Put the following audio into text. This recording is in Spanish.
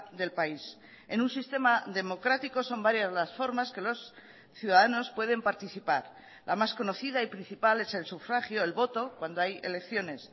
del país en un sistema democrático son varias las formas que los ciudadanos pueden participar la más conocida y principal es el sufragio el voto cuando hay elecciones